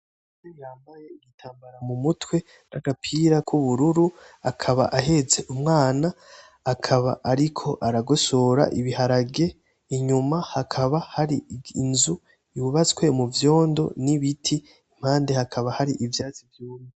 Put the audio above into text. Umugore yambaye igitambara mumutwe nagapira k'ubururu akaba ahetse umwana akaba ariko aragosora ibiharage inyuma hakaba hari inzu yubatswe muvyondo n'ibiti impande hakaba hari ivyatsi vyumye.